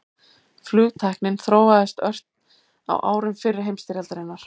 Flugtæknin þróaðist ört á árum fyrri heimsstyrjaldarinnar.